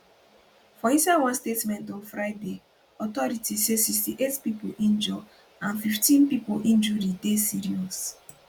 for inside one statement on friday authorities say 68 pipo injure and 15 pipo injury dey serious